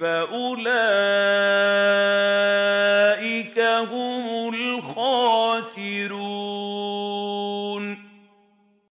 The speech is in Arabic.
فَأُولَٰئِكَ هُمُ الْخَاسِرُونَ